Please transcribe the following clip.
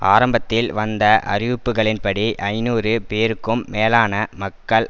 ஆரம்பத்தில் வந்த அறிவிப்புக்களின்படி ஐநூறு பேருக்கும் மேலான மக்கள்